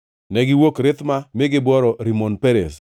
Negiwuok Rithma mi gibworo Rimon Perez.